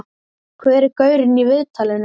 Hver er gaurinn í viðtalinu?